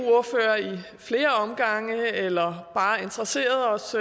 flere omgange eller bare har interesseret os